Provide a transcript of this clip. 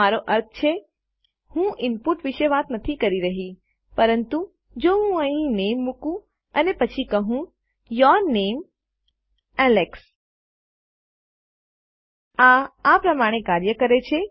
મારો અર્થ છે હું ઇનપુટ વિશે વાત નથી કરી રહી પરંતુ જો હું અહીં નામે મુકું અને પછી કહું યૂર નામે એલેક્સ આ આ પ્રમાણે કાર્ય કરે છે